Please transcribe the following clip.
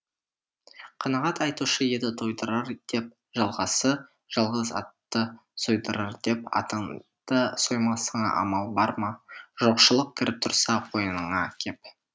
қанағат айтушы еді тойдырар деп жалғасы жалғыз атты сойдырар деп атыңды соймасыңа амал бар ма жоқшылық кіріп тұрса қойныңа кеп